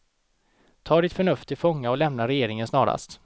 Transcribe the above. Ta ditt förnuft till fånga och lämna regeringen snarast.